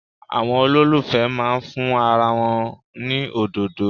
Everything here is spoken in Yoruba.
Àwọn olólùfẹ́ máa fún ara wọn ní òdòdó.